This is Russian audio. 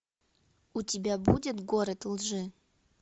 у тебя будет город лжи